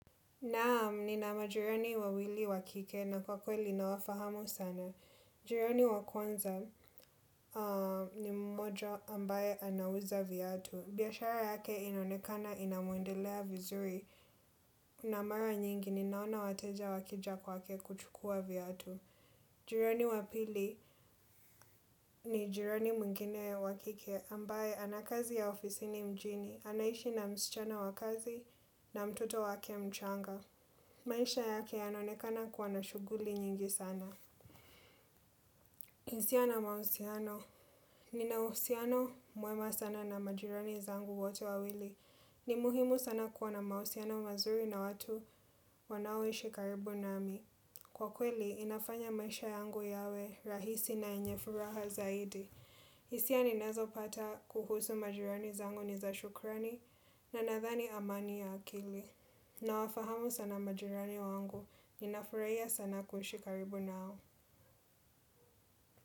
Naam, nina majirani wawili wa kike na kwa kweli nawafahamu sana. Jirani wa kwanza ni mmoja ambaye anauza viatu. Biashara yake inaonekana inamwendelea vizuri na mara nyingi ninaona wateja wakija kwake kuchukua viatu. Jirani wa pili ni jirani mwingine wa kike ambaye ana kazi ya afisini mjini. Anaishi na msichana wa kazi na mtoto wake mchanga. Maisha yake yanaonekana kuwa na shughuli nyingi sana. HIsia na mahusiano, nina uhusiano mwema sana na majirani zangu wote wawili. Ni muhimu sana kuwa na mahusiano mazuri na watu wanaoishi karibu nami. Kwa kweli, inafanya maisha yangu yawe rahisi na yenye furaha zaidi. Hisia ninazopata kuhusu majirani zangu ni za shukrani na nadhani amani ya akili. Nawafahamu sana majirani wangu, ninafuraha sana kuishi karibu nao.